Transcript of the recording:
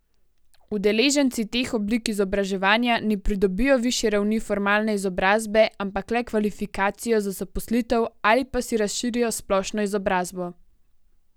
Udeleženci teh oblik izobraževanja ne pridobijo višje ravni formalne izobrazbe, ampak le kvalifikacijo za zaposlitev ali pa si razširijo splošno izobrazbo.